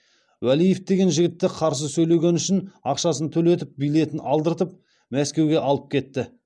уәлиев деген жігітті қарсы сөйлегені үшін ақшасын төлетіп билетін алдыртып мәскеуге алып кетті